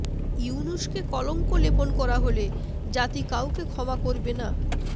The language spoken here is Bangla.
ইউনূসকে কলঙ্ক লেপন করা হলে জাতি কাউকে ক্ষমা করবে না